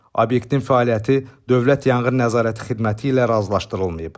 Obyektin fəaliyyəti Dövlət Yanğın Nəzarəti Xidməti ilə razılaşdırılmayıb.